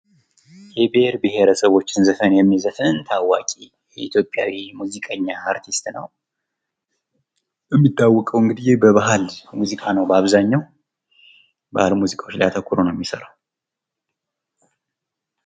የብሄር ብሄረሰቦችን ዘፈን የሚዘፍን ታዋቂ የኢትዮጵያዊ ሙዚቀኛ አርቲስት ነው። የሚታወቀዉ እንግዲህ በባህል ሙዚቃዎች ነው ባብዘሀኛውህ ባህል ሙዚቃዎች ላይ አተኩሮ ነው ሚሰራዉ።